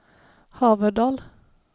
Haverdal